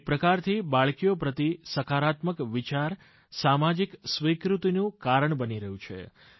એક પ્રકારથી બાળકીઓ પ્રતિ સકારાત્મક વિચાર સામાજિક સ્વિકૃતિનું કારણ બની રહ્યું છે